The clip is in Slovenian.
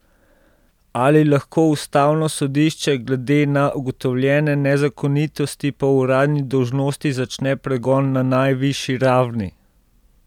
Ali lahko ustavno sodišče glede na ugotovljene nezakonitosti po uradni dolžnosti začne pregon na najvišji ravni?